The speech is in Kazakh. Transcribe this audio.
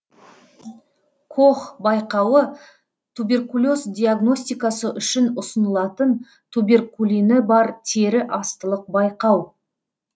кох байқауы туберкулез диагностикасы үшін ұсынылатын туберкулині бар тері астылық байқау